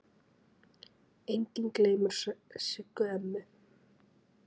Enginn gleymir Siggu ömmu.